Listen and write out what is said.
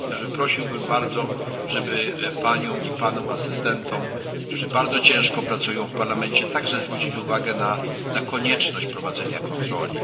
Prosiłbym zatem bardzo, żeby paniom i panom asystentom, którzy bardzo ciężko pracują w Parlamencie, także zwrócić uwagę na konieczność prowadzenia kontroli.